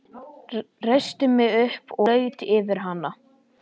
Reisti mig upp og laut yfir hana.